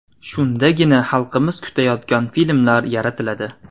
Shundagina xalqimiz kutayotgan filmlar yaratiladi.